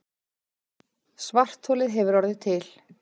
Svartholið hefur orðið til.